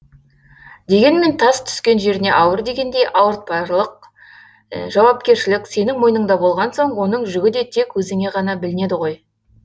дегенмен тас түскен жеріне ауыр дегендей ауыртпалық жауапкершілік сенің мойныңда болған соң оның жүгі де тек өзіңе ғана білінеді ғой